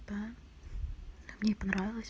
да мне понравилось